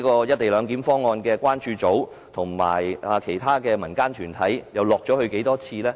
"一地兩檢"關注組和其他民間團體又曾落區多少次？